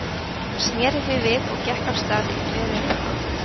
Hún sneri því við og gekk af stað í þveröfuga átt.